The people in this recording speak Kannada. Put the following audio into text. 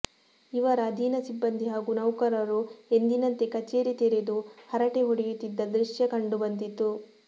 ಇವರ ಅಧೀನ ಸಿಬ್ಬಂದಿ ಹಾಗೂ ನೌಕರರು ಎಂದಿನಂತೆ ಕಚೇರಿ ತೆರೆದು ಹರಟೆ ಹೊಡೆಯುತ್ತಿದ್ದ ದೃಶ್ಯ ಕಂಡು ಬಂದಿತು